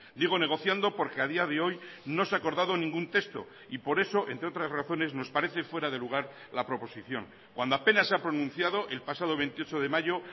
digo negociando porque a día de hoy no se ha acordado ningún texto y por eso entre otras razones nos parece fuera de lugar la proposición cuando apenas se ha pronunciado el pasado veintiocho de mayo